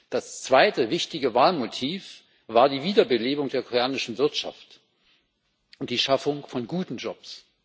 Das zweite wichtige Wahlmotiv war die Wiederbelebung der koreanischen Wirtschaft und die Schaffung von guten Jobs.